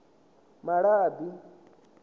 malabi